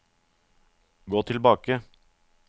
gå tilbake